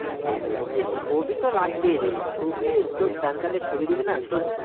ছবি তো লাগবেই রে ছবি তোর PAN card এ ছবি দিবিনা তোর